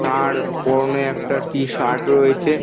তার পরনে একটা টি -শার্ট রয়েছে।